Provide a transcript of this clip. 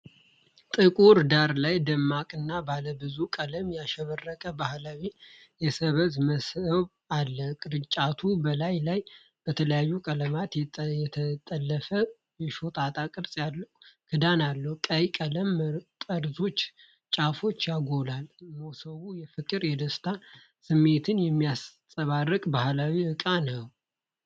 ጥቁር ዳራ ላይ ደማቅና ባለብዙ ቀለም ያሸበረቀ ባህላዊ የሰብዝ መሰብ አለ። ቅርጫቱ በላዩ ላይ በተለያዩ ቀለማት የተጠለፈ የሾጣጣ ቅርጽ ያለው ክዳን አለው። ቀይ ቀለም ጠርዞችንና ጫፉን ያጎላል። ሞሰቡ የፍቅርና የደስታ ስሜትን የሚያንጸባርቅ ባህላዊ ዕቃ ነው።